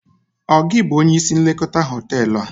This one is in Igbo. Ọ gị bụ onye isi nlekọta hoteelu a?